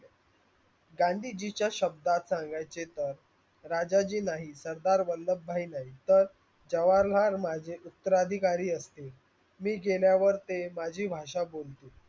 गांधीजीच्या शब्दात सांगाचे तर राजाजी नाही, सरदार वल्लभाई नाही तर जवाहरलाल माझे उत्तरधिकारी असतील. मी गेल्या वर ते माझी भाषा बोलतील.